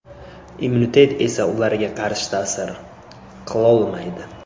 Immunitet esa ularga qarshi ta’sir qilolmaydi.